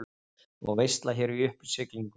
Og veisla hér í uppsiglingu.